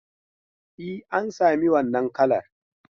E, an sami wannan kalar.